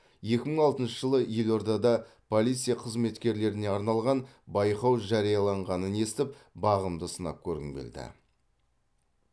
екі мың алтыншы жылы елордада полиция қызметкерлеріне арналған байқау жарияланғанын естіп бағымды сынап көргім келді